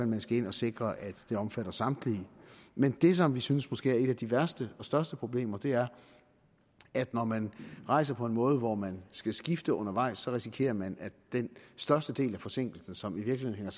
man skal ind og sikre at det omfatter samtlige men det som vi synes måske et af de værste og største problemer er at når man rejser på en måde hvor man skal skifte undervejs så risikerer man at den største del af forsinkelsen som i virkeligheden